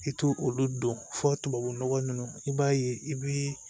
I t'o olu dɔn fɔ tubabu nɔgɔ ninnu i b'a ye i bi